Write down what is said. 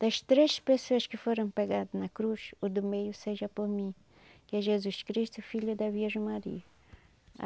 Das três pessoas que foram pegadas na cruz, o do meio seja por mim, que é Jesus Cristo, filho da Virgem Maria.